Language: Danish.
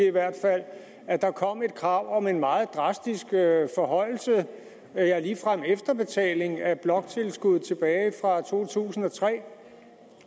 i hvert fald at der kommer et krav om en meget drastisk forhøjelse ja ligefrem efterbetaling af bloktilskud tilbage fra 2003